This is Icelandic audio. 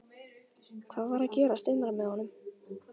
Hvað var að gerast innra með honum?